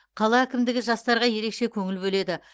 қала әкімдігі жастарға ерекше көңіл бөледі